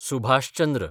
Subhash Chandra